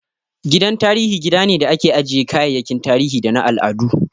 Gidan tarihi gida ne da ake ajjiye kayayyakin tarihi da na al'adu